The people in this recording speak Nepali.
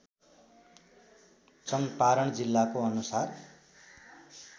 चङ्पारण जिल्लाको अनुसार